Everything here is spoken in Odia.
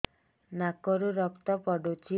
ନାକରୁ ରକ୍ତ ପଡୁଛି